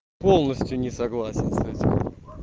полностью не согласен с этим